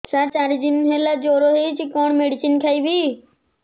ସାର ଚାରି ଦିନ ହେଲା ଜ୍ଵର ହେଇଚି କଣ ମେଡିସିନ ଖାଇବି